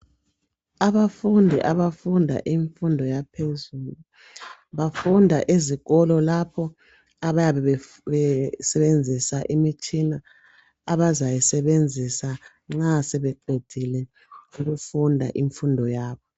Abafundi abafunda imfundo yaphezulu , bafunda ezikolo lapho abayabe besebenzisa imitshina abazayi sebenzisa nxa sebeqedile imfundo yabo.